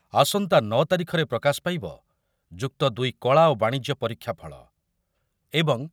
ଆସନ୍ତା ନଅ ତାରିଖରେ ପ୍ରକାଶ ପାଇବ ଯୁକ୍ତ ଦୁଇ କଳା ଓ ବାଣିଜ୍ୟ ପରୀକ୍ଷାଫଳ । ଏବଂ